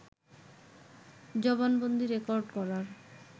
জবানবন্দী record করার